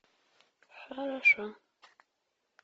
хорошо